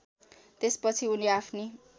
त्यसपछि उनी आफ्नी